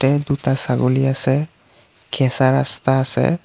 এ দুটা ছাগলী আছে কেঁচা ৰাস্তা আছে।